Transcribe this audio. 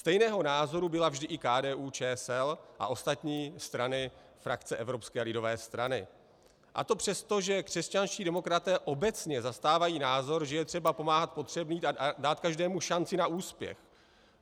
Stejného názoru byla vždy i KDU-ČSL a ostatní strany frakce Evropské lidové strany, a to přestože křesťanští demokraté obecně zastávají názor, že je třeba pomáhat potřebným a dát každému šanci na úspěch.